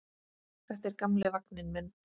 Þetta er gamli vagninn minn.